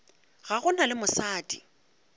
ga go na le mosadi